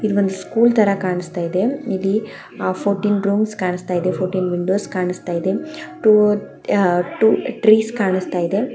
ಇದ್ ಒಂದು ಸ್ಕೂಲ್ ತರ ಕಾಣಿಸ್ತಾ ಇದೆ ಇಲ್ಲಿ ಫೌರ್ತೀನಿ ರೂಮ್ಸ್ ಕಾಣ್ಸ್ತ ಇದೆ ಫೌರ್ತೀನಿ ವಿಂಡೋಸ್ ಕಾಣ್ಸ್ತ ಇದೆ ಟೂ ಟ್ರೀಸ್ ಕಾಣ್ಸ್ತ ಇದೆ.